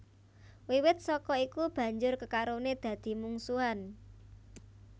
Wiwit saka iku banjur kekarone dadi mungsuhan